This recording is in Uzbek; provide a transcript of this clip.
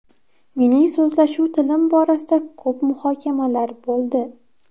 Mening so‘zlashuv tilim borasida ko‘p muhokamalar bo‘ldi.